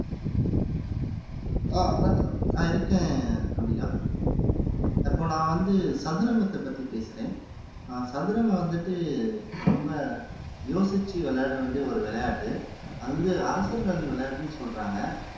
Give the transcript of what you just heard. ஆஹ் அருணாச்சலம் ஆஹ் இருக்கேன் அம்பிகா இப்போ நான் வந்து சதுரங்கத்தைப் பத்தி பேசுறேன் ஆஹ் சதுரங்கம் வந்துட்டு ரொம்ப யோசிச்சு விளையாட வேண்டிய ஒரு விளையாட்டு அது வந்து அரசர்கள் விளையாட்டுன்னு சொல்றாங்க